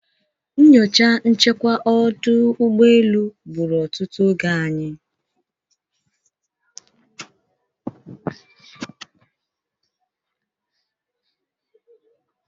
Nyocha nchekwa ọdụ ụgbọelu gburu otutu oge anyị.